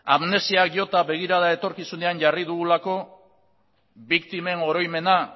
amnesiak jota begirada etorkizunean jarri dugulako biktimen oroimena